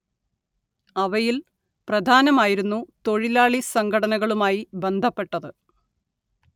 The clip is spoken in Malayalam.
അവയിൽ പ്രധാനമായിരുന്നു തൊഴിലാളി സംഘടനകളുമായി ബന്ധപ്പെട്ടത്